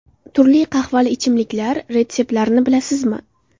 Turli qahvali ichimliklar retseptlarini bilasizmi?.